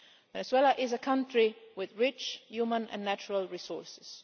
Venezuela is a country with rich human and natural resources.